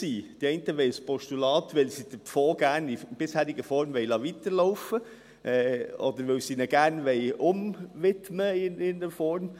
Die einen wollen ein Postulat, weil sie den Fonds gerne in der bisherigen Form weiterlaufen lassen wollen, oder weil sie ihn gerne in irgendeiner Form «umwidmen» wollen.